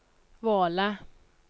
Våle